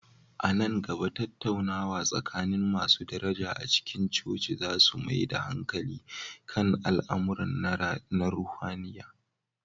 A nan gaba, tattaunawa tsakanin masu daraja a cikin coci za su mai da hankali kan al'amura na ruhaniya.